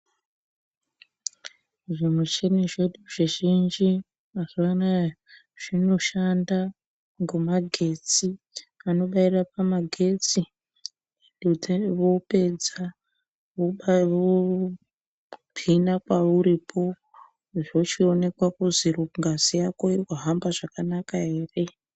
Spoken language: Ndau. Zvimuchini zvedu zvizhinji mazuva anaya zvinoshanda ngomagetsi. Anobaira pamagetsi, pedze vopedza vopina pauripo zvochionekwa kuzi ngazi yako irikuhamba zvakanaka here.